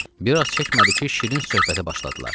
Bir az çəkmədi ki, şirin söhbətə başladılar.